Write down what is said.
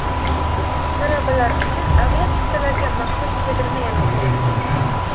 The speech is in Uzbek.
Talabalar uchun aviachiptalarga maxsus chegirma e’lon qilindi.